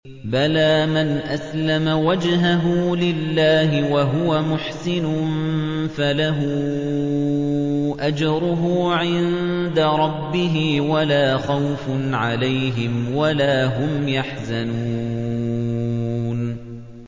بَلَىٰ مَنْ أَسْلَمَ وَجْهَهُ لِلَّهِ وَهُوَ مُحْسِنٌ فَلَهُ أَجْرُهُ عِندَ رَبِّهِ وَلَا خَوْفٌ عَلَيْهِمْ وَلَا هُمْ يَحْزَنُونَ